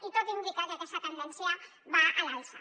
i tot indica que aquesta tendència va a l’alça